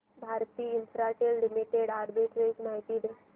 Bharti Infratel limited arbitrage माहिती दे